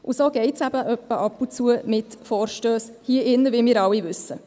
Und so geht es eben ab und zu mit Vorstössen hier im Rat, wie wir alle wissen.